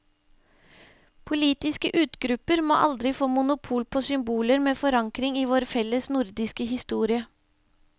Politiske utgrupper må aldri få monopol på symboler med forankring i vår felles nordiske historie.